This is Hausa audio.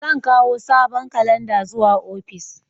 Zan kawo sabon kalanda zuwa ofis.